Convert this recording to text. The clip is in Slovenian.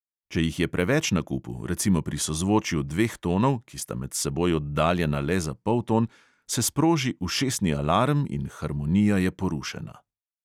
Če jih je preveč na kupu, recimo pri sozvočju dveh tonov, ki sta med seboj oddaljena le za polton, se sproži ušesni alarm in harmonija je porušena.